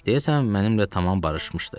Deyəsən, mənimlə tamam barışmışdı.